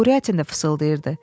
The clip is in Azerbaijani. Kuryatin də fısıldayırdı.